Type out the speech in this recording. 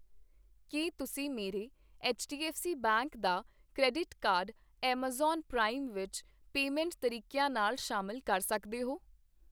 ਕੀ ਤੁਸੀਂਂ ਮੇਰੇ HDFC bank ਦਾ ਕ੍ਰੈਡਿਟ ਕਾਰਡ ਐੱਮਾਜ਼ਾਨ ਪ੍ਰਾਈਮ ਵਿੱਚ ਪੇਮੈਂਟ ਤਰੀਕਿਆਂ ਨਾਲ ਸ਼ਾਮਿਲ ਕਰ ਸਕਦੇ ਹੋ ?